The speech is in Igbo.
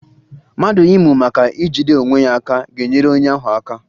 Mmadụ ịmụ maka ijide onwe ya aka ga-enyere onye ahụ aka